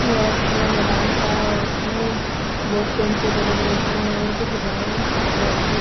ये एक खुला मैदान सा है इसमें बहोत पेड़ पौधे लग रखे हैं और कुछ गाएं बैठकर--